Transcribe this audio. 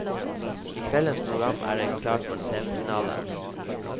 I kveldens program er det klart for semifinale.